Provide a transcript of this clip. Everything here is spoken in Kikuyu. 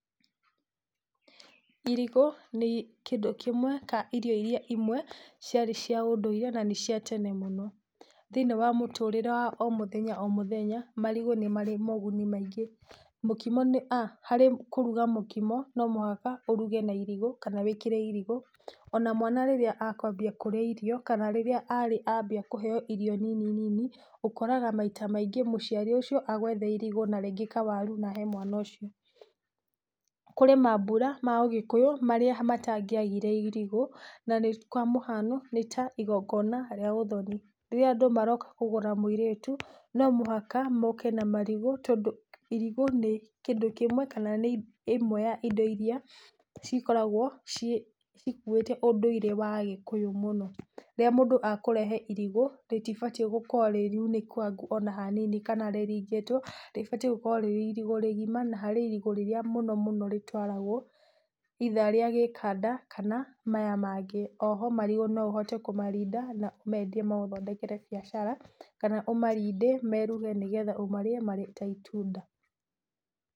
Irigũ nĩ kĩndũ kĩmwe, ka irio iria imwe, ciarĩ cia ũndũire na nĩ cia tene mũno, thĩiníiĩ wa mũtũrĩre wa omũthenya omũthenya marigũ nĩ marĩ moguni maingĩ. Mũkimo nĩ, a harĩ kũruga mũkimo no mũhaka, ũruge na irigũ kana wĩkĩre irigũ, ona mwana rĩrĩa akwambia kũrĩa irio kana rĩrĩa arĩ ambia kũheo irio nini nini, ũkoraga maita maingĩ mũciari ũcio agwetha irigũ na rĩngĩ kawaru na ahe mwana ũcio. Kũrĩ mambura ma ũgĩkũyũ marĩa matangĩagĩre irigũ na kwa mũhano nĩ ta igongona rĩa uthoni rĩrĩa andũ maroka kugũra mũirĩtu no mohaka moke na marigũ tondũ irigũ, nĩ kĩndũ kĩmwe kana nĩ ĩmwe ya indo iria cikoragwo cikũĩte ũndũire wa ũgĩkũyũ mũno. Rĩrĩa mũndũ akũrehe irigũ rĩtibatĩe gũkorwo rĩ rĩunĩkagu ona hanini kana rĩrigĩtwo, rĩbatie gũkorwo rĩ irigũ rĩgima na harĩ irigũ rĩrĩa mũno mũno rĩtwaragwo either rĩa gĩkanda, kana maya mangĩ. O ho marigũ no ũhote kũmarinda na ũmendie magũthondekere biacara kana ũmarinde meruhe nĩgetha ũmarĩe marĩ ta itunda.